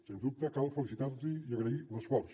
sens dubte cal felicitar los i agrair l’esforç